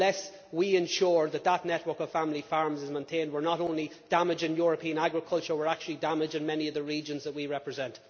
Unless we ensure that this network of family farms is maintained, we are not only damaging European agriculture, we are actually damaging many of the regions that we represent.